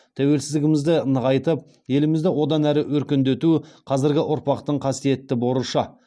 тәуелсіздігімізді нығайтып елімізді одан әрі өркендету қазіргі ұрпақтың қасиетті борышы